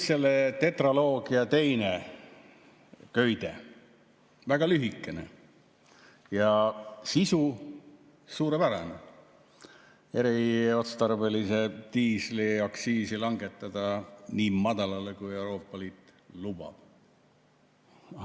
Selle tetraloogia teine köide on väga lühikene ja sisu suurepärane: eriotstarbelise diisli aktsiisi langetada nii madalale, kui Euroopa Liit lubab.